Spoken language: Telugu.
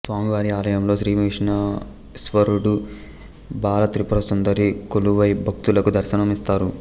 స్వామి వారి ఆలయంలో శ్రీ విఘ్నేశ్వరుడు బాలాత్రిపురసుందరి కొలువై భక్తులకు దర్శనం ఇస్తారు